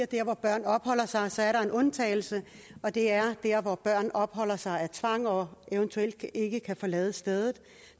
der hvor børn opholder sig sig er der en undtagelse og det er der hvor børn opholder sig af tvang og eventuelt ikke kan forlade stedet